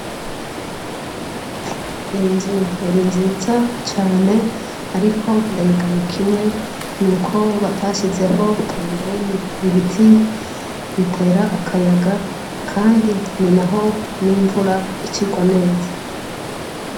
Inzu yari nziza cane ariko ndayigaye kimwe nuko batashizeho pembeni ibiti bitera akayaga kandi ni naho n’ imvura ica irwa neza